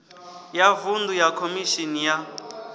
ya vuṅdu ya khomishini ya